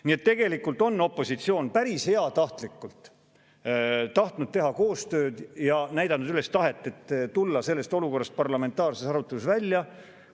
Nii et tegelikult on opositsioon päris heatahtlikult tahtnud teha koostööd ja näidanud üles tahet tulla sellest olukorrast parlamentaarses arutelus välja.